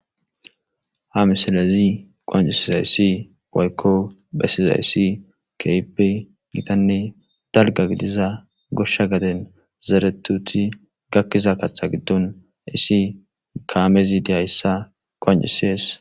ha misalezi qoancisiza yissi boykko bessiza yissi keipe gitanne dalga gidiza goshsha gaden zeretuti gakkiza kaththa giddon issi kaamezi diyayssa qoancisees